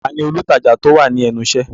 Ta ni olùtajà tí ó wà ní ẹnu iṣẹ́?